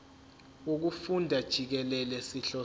wokufunda jikelele sihlose